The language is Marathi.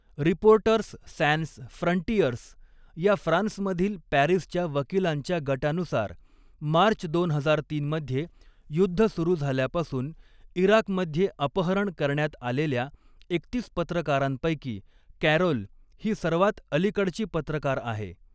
रिपोर्टर्स सॅन्स फ्रंटियर्स या फ्रान्समधील पॅरिसच्या वकिलांच्या गटानुसार, मार्च दोन हजार तीन मध्ये युद्ध सुरू झाल्यापासून इराकमध्ये अपहरण करण्यात आलेल्या एकतीस पत्रकारांपैकी, कॅरोल ही सर्वात अलीकडची पत्रकार आहे.